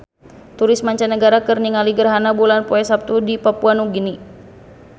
Turis mancanagara keur ningali gerhana bulan poe Saptu di Papua Nugini